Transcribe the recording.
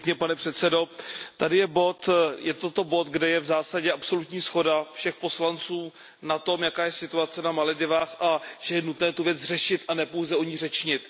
Pane předsedající, toto je bod, kde je v zásadě absolutní shoda všech poslanců na tom, jaká je situace na Maledivách a že je nutné tu věc řešit a ne pouze o ní řečnit.